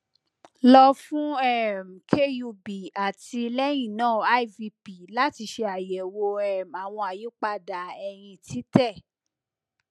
lo fun um kub ati lẹhinna ivp lati ṣe ayẹwo um awọn ayipada ẹhin titẹ